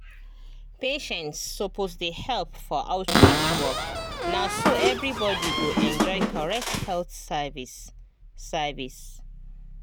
patients suppose dey help for outreach work na so everybody go enjoy correct health service. service.